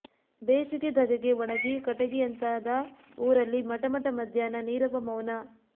ಬೇಸಿಗೆ ಧಗೆಗೆ ಒಣಗಿ ಕಟಗಿಯಂತಾದ ಊರಲ್ಲಿ ಮಟ ಮಟ ಮಧ್ಯಾಹ್ನ ನೀರವ ಮೌನ